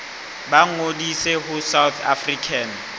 ba ngodise ho south african